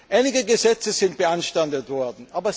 Einige Gesetze sind beanstandet worden.